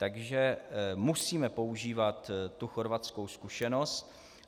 Takže musíme používat tu chorvatskou zkušenost.